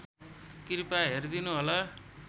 कृपया हेरिदिनुहोला